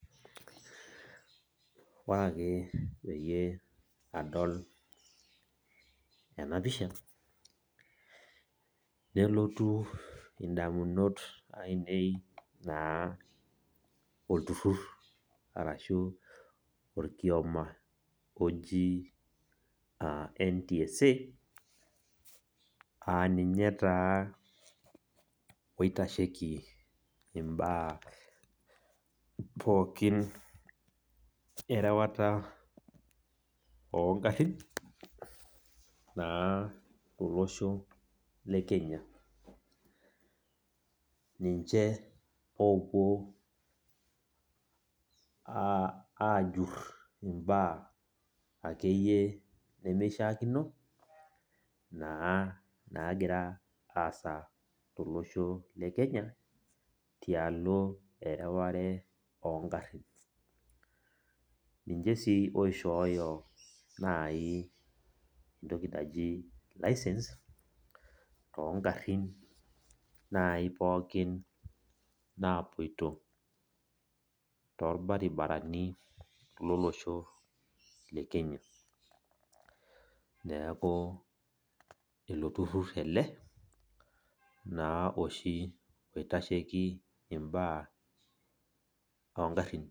Ore ake peyie adol enapisha nelotu indamunot ainei naa olturur arshu okioma oji NTSA aaninye taa oitasheiki imba pookin erewata ongarin tolosho lekenya .Ninche opuo ajur imbaa akeyie nimishakino nagira aasa tolosho lekenya tialo erewata ongarin .Ninche ninche sii oishooyo entoki naji licence tongarin pookin naji napoito torbaribarani lolosho lekenya . Neaku iloturur ele naa oitasheiki imbaa ongarin .